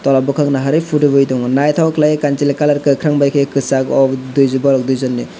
o bokak naharoi photo boi tango naitok khelai kansoloi kesag colour kokarang bai khe kesag o dui bos dui jon ni.